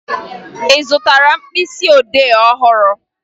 Ị zụtara mkpịsịodee ọhụrụ?